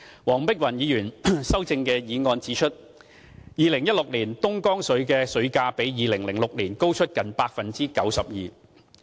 黃碧雲議員修正案指出 ，2016 年的東江水價格比2006年高出近 92%。